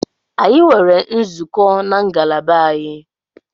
Anyi nwere nzukọ na ngalaba anyị